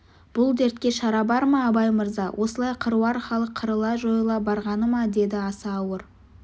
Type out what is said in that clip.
бұл дертке шара бар ма абай мырза осылай қыруар халық қырыла-жойыла барғаны ма деді аса ауыр